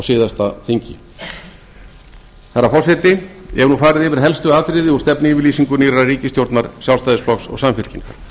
síðasta þingi herra forseti ég hef nú farið yfir helstu atriði úr stefnuyfirlýsingu nýrrar ríkisstjórnar sjálfstæðisflokks og samfylkingar